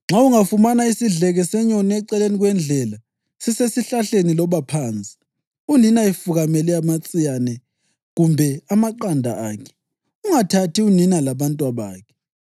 Nxa ungafumana isidleke senyoni eceleni kwendlela, sisesihlahleni loba phansi, unina efukamele amatsiyane kumbe amaqanda akhe, ungathathi unina labantwabakhe.